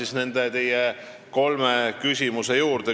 Tuleme siis teie kolme küsimuse juurde.